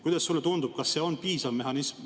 Kuidas sulle tundub, kas see on piisav mehhanism?